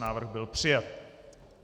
Návrh byl přijat.